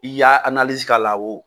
I y'a k'a la o !